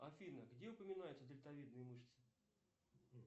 афина где упоминаются дельтавидные мышцы